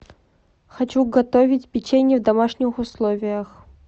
хочу готовить печенье в домашних условиях